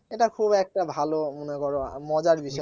এটা খুব একটা ভালো মনে করো মজার বিষয়